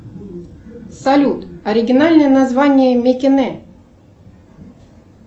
салют оригинальное название микине